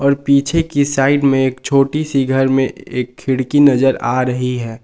और पीछे की साइड में एक छोटी सी घर में एक खिड़की नजर आ रही है।